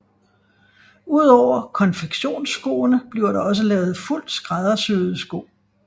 Udover konfektionsskoene bliver der også lavet fuldt skræddersyede sko